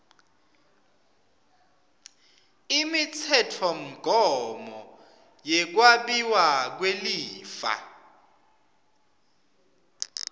imitsetfomgomo yekwabiwa kwelifa